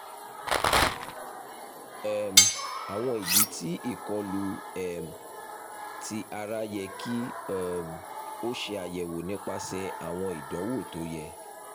um awọn idi ti ikolu um ti ara yẹ ki um o ṣe ayẹwo nipasẹ awọn idanwo to yẹ